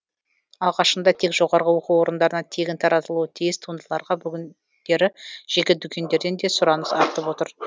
алғашында тек жоғарғы оқу орындарына тегін таратылуы тиіс туындыларға бүгіндері жеке дүкендерден де сұраныс артып отыр